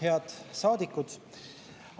Head saadikud!